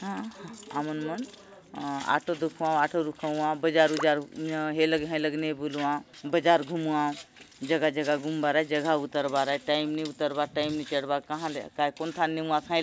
अ आमन मन अ ऑटो दखुआवऑटो रुकावाव बाज़ार उजार ये लगे हय लगे ने बलुआव बाज़ार घुमुवाव जगह-जगह घुमबार आय जगह उतर बार आय टाइम ने उतर बार टाइम ने चढ़ बार कहाले कोन थाने नेवास हय --।